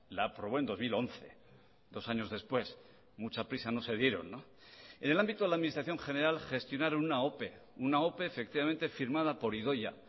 la aprobó en dos mil once dos años después mucha prisa no se dieron en el ámbito de la administración general gestionaron una ope una ope efectivamente firmada por idoia